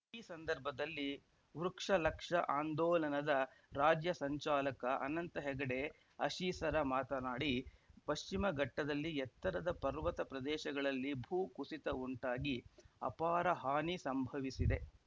ಈ ಸಂದರ್ಭದಲ್ಲಿ ವೃಕ್ಷಲಕ್ಷ ಆಂದೋಲನದ ರಾಜ್ಯ ಸಂಚಾಲಕ ಅನಂತ ಹೆಗಡೆ ಅಶೀಸರ ಮಾತನಾಡಿ ಪಶ್ಚಿಮಘಟ್ಟದಲ್ಲಿ ಎತ್ತರದ ಪರ್ವತ ಪ್ರದೇಶಗಳಲ್ಲಿ ಭೂ ಕುಸಿತ ಉಂಟಾಗಿ ಅಪಾರ ಹಾನಿ ಸಂಭವಿಸಿದೆ